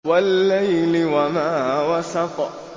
وَاللَّيْلِ وَمَا وَسَقَ